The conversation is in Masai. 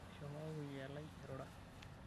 Eshomo kakuyia lai airura.